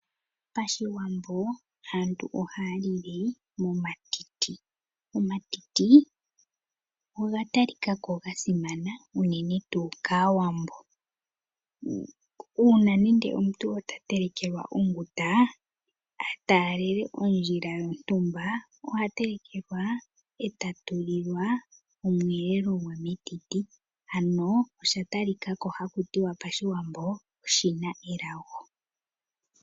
Pashiwambo aantu ohaya lile momatiti. Omatiti oga talika ko gasimana unene tuu kaawambo. Uuna nende omuntu ta telekelwa onguta, ataalele ondjila yontumba, oha telekelwa e ta tulilwa omweelelo gwe metiti. Ano osha talika ko haku tiwa pashiwambo oshi na elago.